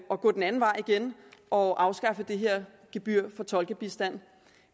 at gå den anden vej igen og afskaffe det her gebyr for tolkebistand